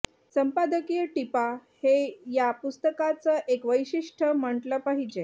संपादकीय टीपा हे या पुस्तकाचं एक वैशिष्ट्य म्हटलं पाहिजे